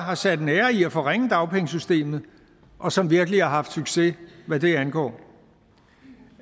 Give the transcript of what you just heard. har sat en ære i at forringe dagpengesystemet og som virkelig har haft succes hvad det angår